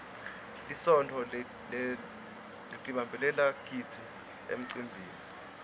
lisontfo litdbaneba gidzi emcimbini